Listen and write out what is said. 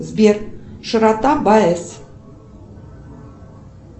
сбер широта баэс